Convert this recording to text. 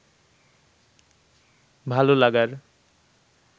ভালো লাগার